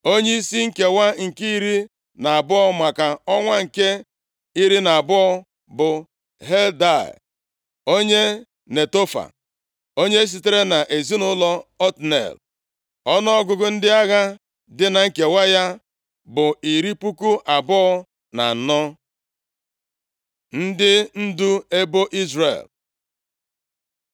Onyeisi nkewa nke iri na abụọ, maka ọnwa nke iri na abụọ bụ Heldai onye Netofa. Onye sitere nʼezinaụlọ Otniel. Ọnụọgụgụ ndị agha dị na nkewa ya bụ iri puku abụọ na anọ (24,000). Ndị ndu ebo Izrel